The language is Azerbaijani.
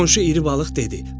Qonşu iri balıq dedi: